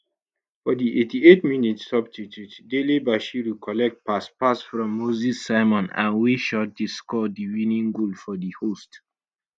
for di 88 minutes substitute dele bashiru collect pass pass from moses simon and waya shot to score di winning goal for di host